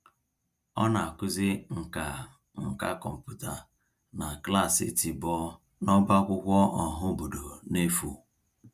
Ọ na-akụzi nkà nkà kọmputa na klaasị tiboh n'ọbá akwụkwọ ọhaobodo n'efu.